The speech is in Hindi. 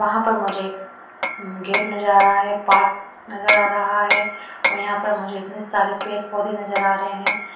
वहां पर मुझे गेट नजर आ रहा है पार्क नजर आ रहा है और यहां पर मुझे इतने सारे पेड़ पौधे नजर आ रहे हैं।